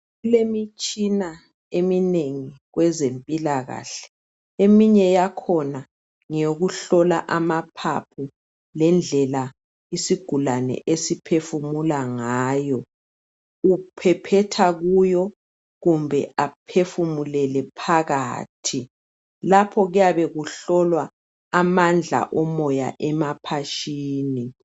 Kulemitshina eminengi kwezempilakahle eminye yakhona ngeyokuhlola amaphaphu lendlela isigulane esiphefumula ngayo uphephetha kuyo kumbe ephefumulele phakathi lapho kuyabe kuhlolwa amandla omoya emaphatshini.